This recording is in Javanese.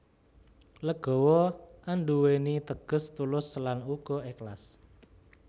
Legawa andhuweni teges tulus lan uga eklas